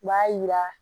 U b'a yira